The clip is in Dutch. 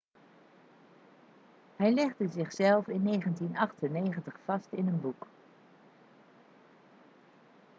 hij legde zichzelf in 1998 vast in een boek